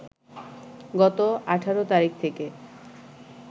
গত ১৮ তারিখ থেকে